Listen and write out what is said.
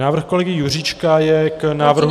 Návrh kolegy Juříčka je k návrhu...